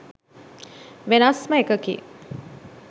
වෙනස්ම එකකි.